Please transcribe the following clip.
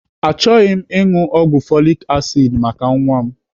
Achọghị m ịṅụ ọgwụ folik asid maka nwa m.